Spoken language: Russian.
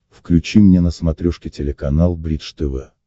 включи мне на смотрешке телеканал бридж тв